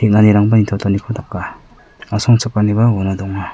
daka asongchakaniba uano donga.